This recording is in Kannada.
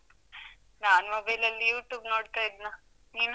ನಾನು mobile ಲಲ್ಲಿ YouTube ನೋಡ್ತಾ ಇದ್ನ, ನೀನು?